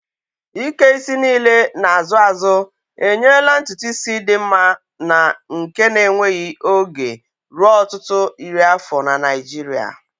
Ike isi niile na-azụ azụ enyela ntutu isi dị mma na nke na-enweghị oge ruo ọtụtụ iri afọ na Naijiria.